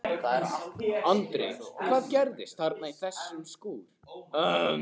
Andri: Hvað gerðist þarna í þessum skúr?